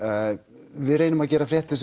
við reynum að gera fréttir